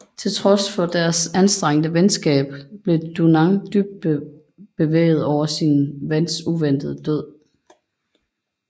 Til trods for deres anstrengte venskab blev Dunant dybt bevæget over sin vens uventede død